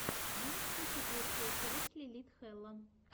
можешь включить лучшую часть лилит хэлла